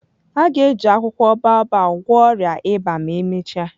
A ga-eji akwụkwọ baobab gwọọ ọrịa ịba ma emechaa.